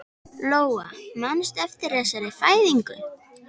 Lóa: Manstu eftir þessari fæðingu?